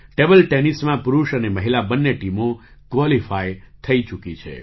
table ટેનિસમાં પુરુષ અને મહિલા બંને ટીમો ક્વૉલિફાઈ થઈ ચૂકી છે